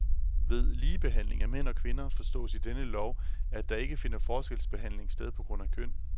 Ved ligebehandling af mænd og kvinder forstås i denne lov, at der ikke finder forskelsbehandling sted på grund af køn.